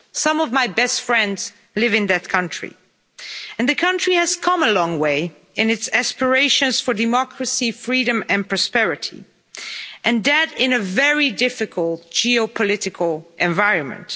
Some of my best friends live in that country and the country has come a long way in its aspirations for democracy, freedom and prosperity, and that in a very difficult geopolitical environment.